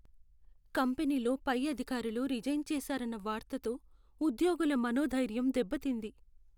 కంపెనీలో పై అధికారులు రిజైన్ చేసారన్న వార్తతో ఉద్యోగుల మనోధైర్యం దెబ్బతింది.